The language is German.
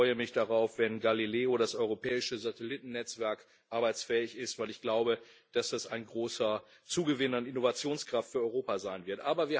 Ich freue mich darauf, wenn Galileo, das europäische Satellitennetzwerk, arbeitsfähig ist, weil ich glaube, dass das ein großer Zugewinn an Innovationskraft für Europa sein wird.